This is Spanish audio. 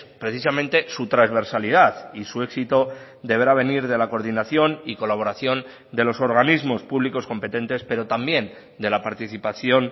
precisamente su transversalidad y su éxito deberá venir de la coordinación y colaboración de los organismos públicos competentes pero también de la participación